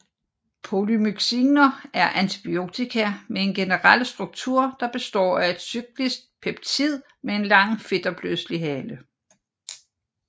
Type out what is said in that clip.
Polymyxiner er antibiotika med en generel struktur der består af et cyklisk peptid med en lang fedtopløselig hale